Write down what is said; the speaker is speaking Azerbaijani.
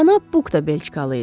Cənab Buq da belçikalı idi.